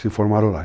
Se formaram lá.